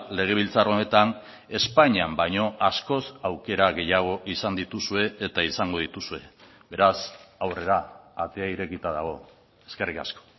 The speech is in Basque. legebiltzar honetan espainian baino askoz aukera gehiago izan dituzue eta izango dituzue beraz aurrera atea irekita dago eskerrik asko